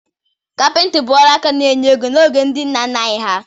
Kapịntri bụ ọrụ aka na-enye ego n'oge ndị nna nna anyị ha.